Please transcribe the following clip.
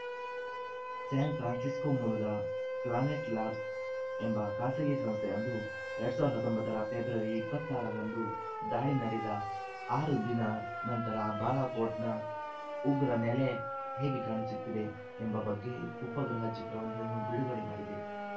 San Francisco ಮೂಲದ Planet Labs ಎಂಬ ಖಾಸಗಿ ಸಂಸ್ಥೆಯೊಂದು ಎರಡ್ ಸಾವಿರದ ಹತ್ತೊಂಬತ್ತರ ಫೆಬ್ರವರಿ ಇಪ್ಪತ್ತ ಆರುರಂದು ದಾಳಿ ನಡೆದ ಆರು ದಿನ ನಂತರ ಬಾಲಾಕೋಟ್‌ನ ಉಗ್ರ ನೆಲೆ ಹೇಗೆ ಕಾಣಿಸುತ್ತಿದೆ ಎಂಬ ಬಗ್ಗೆ ಉಪಗ್ರಹ ಚಿತ್ರವೊಂದನ್ನು ಬಿಡುಗಡೆ ಮಾಡಿದೆ